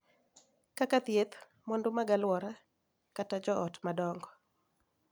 Kaka thieth, mwandu mag alwora, kata jo ot madongo,